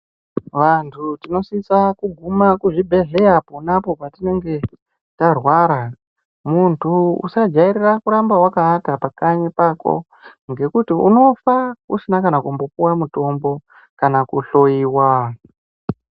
Vantu tinosisa kuguma kuzvibhedhlera ponapo patinenge tarwara muntu usajairira kuramba wakawata pakanyi pako ngekuti unofa usina kana kumbopuwa mutombo kana kuhloyiwa.